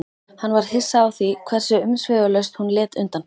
Hann varð hissa á því hversu umsvifalaust hún lét undan.